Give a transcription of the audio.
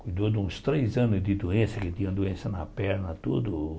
Cuidou de uns três anos de doença, que tinha doença na perna, tudo.